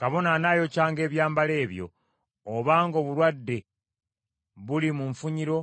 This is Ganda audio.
Kabona anaayokyanga ebyambalo ebyo, obanga obulwadde buli mu nfunyiro